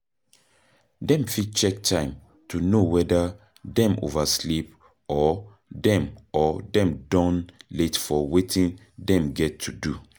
Dem fit check time to know weda dem oversleep or dem or dem don late for wetin dem get to do